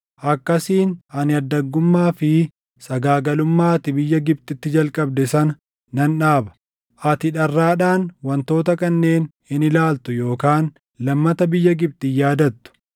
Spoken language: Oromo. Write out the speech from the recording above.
Akkasiin ani addaggummaa fi sagaagalummaa ati biyya Gibxitti jalqabde sana nan dhaaba. Ati dharraadhaan wantoota kanneen hin ilaaltu yookaan lammata biyya Gibxi hin yaadattu.